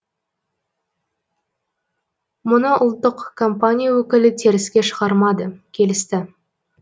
мұны ұлттық компания өкілі теріске шығармады келісті